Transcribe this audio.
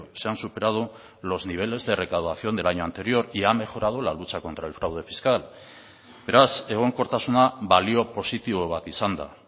se han superado los niveles de recaudación del año anterior y ha mejorado la lucha contra el fraude fiscal beraz egonkortasuna balio positibo bat izan da